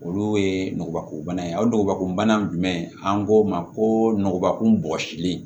Olu ye ngubakobana ye o ngɔbakunbana jumɛn an k'o ma ko nɔgɔbakurun bɔsilen